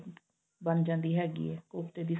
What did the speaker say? ਬਣ ਜਾਂਦੀ ਹੈਗੀ ਏ ਕੋਫਤੇ ਦੀ